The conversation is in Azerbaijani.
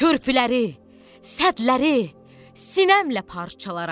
Körpüləri, sədləri sinəmlə parçalaram.